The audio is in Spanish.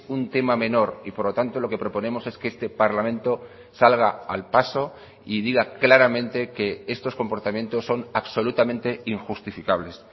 un tema menor y por lo tanto lo que proponemos es que este parlamento salga al paso y diga claramente que estos comportamientos son absolutamente injustificables